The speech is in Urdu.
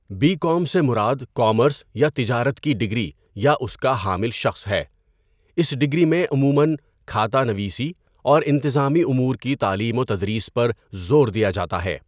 بی کام سے مراد کامرس یا تجارت کی ڈگری یا اس کا حامل شخص ہے۔ اس ڈگری میں عموماّ کھاتہ نویسی اور انتظامی امور کی تعلیم و تدریس پر زور دیا جاتا ہے۔